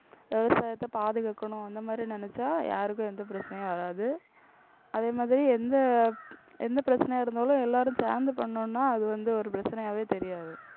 விவசாயத்தை பாதுகாக்கணும். அந்த மாதிரி நினைச்சா யாருக்கும் எந்த பிரச்சனையும் வராது. அதே மாதிரி எந்த எந்த பிரச்சனையா இருந்தாலும் எல்லாரும் சேர்ந்து பண்ணோம்னா அது வந்து ஒரு பிரச்சனையாவே தெரியாது.